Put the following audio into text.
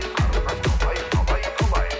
қарындас қалай қалай қалай